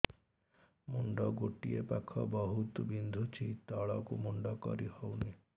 ମୁଣ୍ଡ ଗୋଟିଏ ପାଖ ବହୁତୁ ବିନ୍ଧୁଛି ତଳକୁ ମୁଣ୍ଡ କରି ହଉନି